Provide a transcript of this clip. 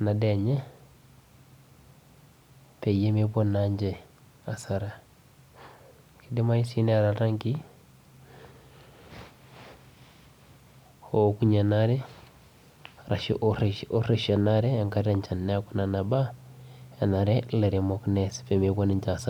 enadaa enye peyie mepuo naanche asara. Kidimayu si neeta iltankii, oukunye enaare ashu orreshie enaare enkata enchan. Neeku nena baa, enare ilaremok nees pemepuo ninche asara.